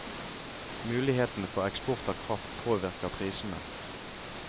Mulighetene for eksport av kraft påvirker prisene.